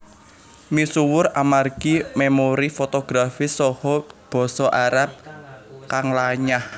Misuwur amargi memori fotografis saha Basa Arab kang lanyah